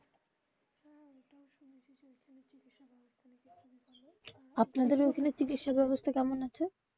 আপনাদের ওখানে চিকিৎসা ব্যবস্থা কেমন আছে?